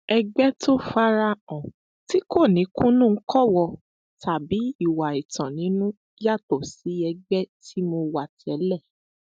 ẹgbẹ tó fara hàn tí kò ní kùnnùńkọwò tàbí ìwà ẹtàn nínú yàtọ sí ẹgbẹ tí mo wà tẹlẹ